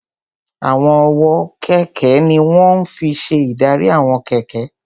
Àwọn ọwọ́ kẹ̀kẹ́ ní wọ́n fi n ṣe ìdarí àwọn kẹ̀kẹ́